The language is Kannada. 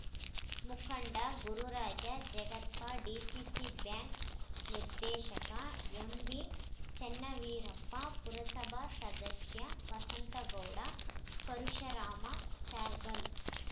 ಮುಖಂಡ ಗುರುರಾಜ ಜಗತಾಪ್‌ ಡಿಸಿಸಿ ಬ್ಯಾಂಕ್‌ ನಿರ್ದೇಶಕ ಎಂಬಿಚನ್ನವೀರಪ್ಪ ಪುರಸಭಾ ಸದಸ್ಯ ವಸಂತಗೌಡ ಪರಶುರಾಮ ಚಾರ್ಗಲ್